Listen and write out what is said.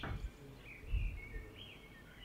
первая часть инвейдера